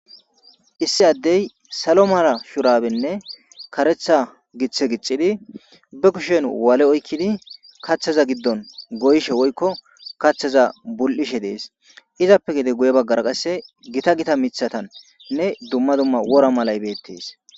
issi addey salo mala shurabenne karetha giththe giccidi be kushen waale oykkidi kaththaza giddon goyshe woykko kaththaza bul7ishe dees izappe gide guye baggara qasse gita gita mithatannne dumma dumma wora malay beettees